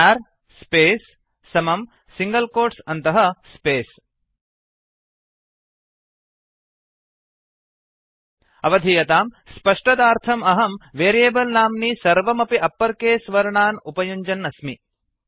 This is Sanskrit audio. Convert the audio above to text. चर् स्पेस् क्यार् स्पेस् समं सिङ्गल् कोट्स् अन्तः स्पेस् अवधीयतां स्पष्टतार्थम् अहं वेरियेबल् नाम्नि सर्वमपि अप्पर् केस् वर्णान् उपयुञ्जन् अस्मि